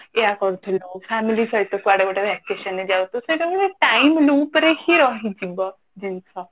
ଏୟା କରୁଥିଲୁ family ସହ କୁଆଡେ ଗୋଟେ vacation ରେ ଯାଉଥିଲୁ ସେଇଟା ଗୋଟେ time loop ରେ ହିଁ ରହିଯିବ ଜିନିଷ